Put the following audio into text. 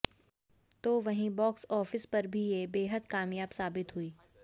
तो वहीं box office पर भी ये बेहद कामयाब साबित हुई